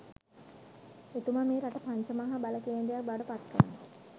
එතුමා මේ රට පංච මහා බල කේන්ද්‍රයක් බවට පත් කරනවා